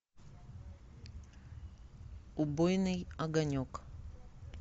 убойный огонек